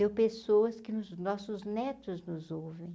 Deu pessoas que os nossos netos nos ouvem.